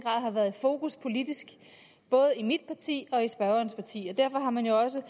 har været i fokus politisk både i mit parti og i spørgerens parti derfor har man jo også